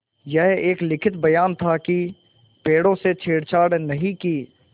यह एक लिखित बयान था कि पेड़ों से छेड़छाड़ नहीं की